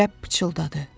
Rəbb pıçıldadı.